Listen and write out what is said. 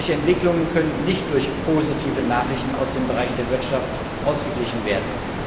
Solche Entwicklungen können nicht durch positive Nachrichten aus dem Bereich der Wirtschaft ausgeglichen werden.